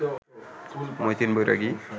Matin Bairagi